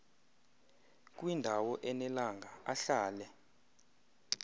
kwindawo enelanga ahlale